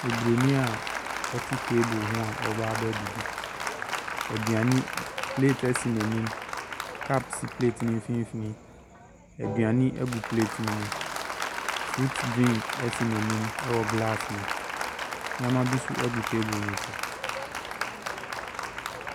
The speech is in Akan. Oburonin a ɔte table ho a ɔreba abɛdidi. Aduane ɛ plate si n'anim. Cup si plate no mfimfini. Aduane gu plate no mu. Fruit drink si n'anim wɔ glass mu. Nneama bi nso gu table no so.